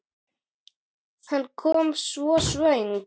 Hann kom svo snöggt.